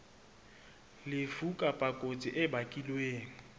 lefu kapa kotsi e bakilweng